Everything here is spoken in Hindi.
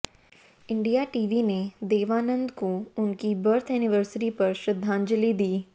इंडिया टीवी ने देवानंद को उनकी बर्थ एनिवर्सरी पर श्रद्धांजलि दी